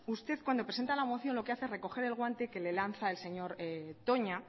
usted cuando presenta la moción lo que hace es recoger el guante que le lanza el señor toña